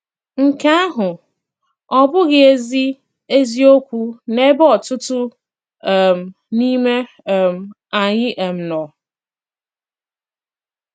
Nke àhụ̀ ọ́ bụ̀ghị̀ ezi ezi òkwù n'ebe ọ̀tùtù um n'ime um ànyị̀ um nọ?